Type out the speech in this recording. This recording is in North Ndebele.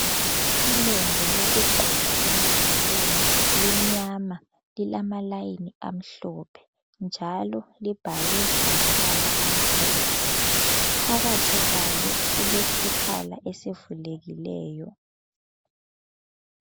Ilembu lokugqoka emadolweni limnyama lilamalayini amhlophe njalo libhalwe ngamabala amhlophe. Phakathi kwalo kulesikhala esivulekileyo.